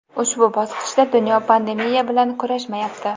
ushbu bosqichda dunyo pandemiya bilan kurashmayapti.